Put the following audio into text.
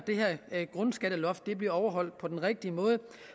at grundskatteloft bliver overholdt på den rigtige måde